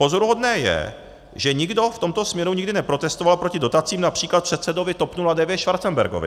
Pozoruhodné je, že nikdo v tomto směru nikdy neprotestoval proti dotacím, například předsedovi TOP 09 Schwarzenbergovi.